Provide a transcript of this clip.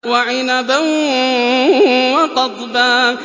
وَعِنَبًا وَقَضْبًا